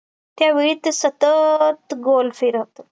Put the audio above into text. त्या वेळी ते सतत गोल फिरत